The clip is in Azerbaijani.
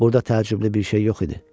Burada təəccüblü bir şey yox idi.